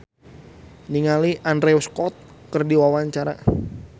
Nadia Mulya olohok ningali Andrew Scott keur diwawancara